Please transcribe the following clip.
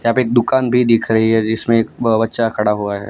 यहां पे एक दुकान भी दिख रही है जिसमें एक ब बच्चा खड़ा हुआ है।